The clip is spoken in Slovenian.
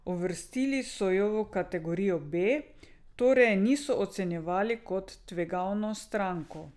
Uvrstili so jo v kategorijo B, torej je niso ocenjevali kot tvegano stranko.